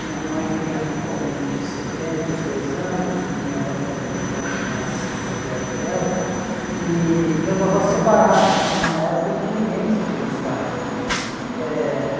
Minha mãe tem atualmente setenta e dois anos, minha avó acho que era vinte anos mais mais velha que ela, e meus avós se separaram numa época em que ninguém se divorciava aqui. Eh